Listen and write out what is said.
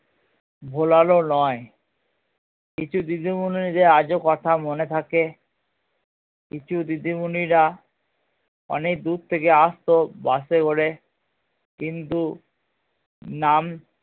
ভোলার ও নয় কিছু দিদিমণিদের কথা আজ ও মনে থাকে কিছু দিদিমণিরা অনেক দূর থেকে আসতো বাস এ করে কিন্তু নাম